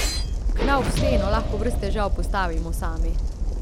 Knauf steno lahko brez težav postavimo sami.